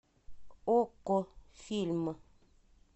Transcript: окко фильм